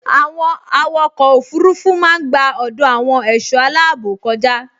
Àwọn àwòkọ òfurufú máa n gba ọdọ àwọn ẹṣọ aláàbò kọja